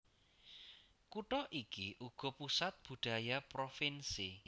Kutha iki uga pusat budaya provinsi